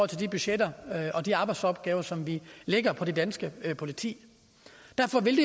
til de budgetter og de arbejdsopgaver som vi lægger på det danske politi derfor vil